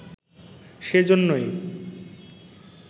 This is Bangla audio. সে জন্যই